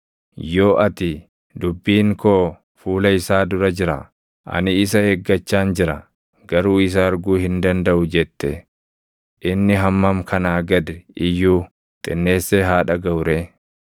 Yoo ati, ‘Dubbiin koo fuula isaa dura jira; ani isa eeggachaan jira; garuu isa arguu hin dandaʼu’ jette, inni hammam kanaa gad iyyuu xinneessee haa dhagaʼu ree!